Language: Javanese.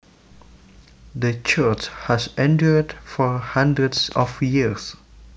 The church has endured for hundreds of years